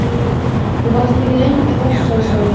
Þú varst ekki lengi að þessu, sagði Sveinn.